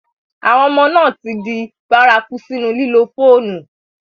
Àwọn ọmà náà ti dì bàràkù sínu lílò fọ̀nù.